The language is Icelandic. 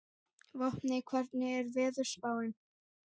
Vopni, hvernig er veðurspáin?